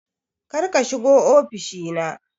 Kar ka shiga ofishi na